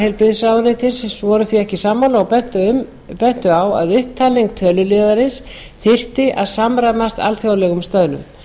heilbrigðisráðuneytis voru því ekki sammála og bentu á að upptalning töluliðarins þyrfti að samræmast alþjóðlegum stöðlum